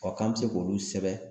k'an bɛ se k'olu sɛbɛn